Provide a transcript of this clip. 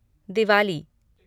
Diwali